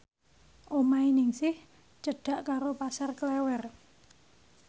omahe Ningsih cedhak karo Pasar Klewer